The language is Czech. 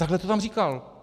Takhle to tam říkal.